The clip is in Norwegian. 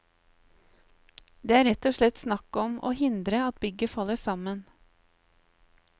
Det er rett og slett snakk om å hindre at bygget faller sammen.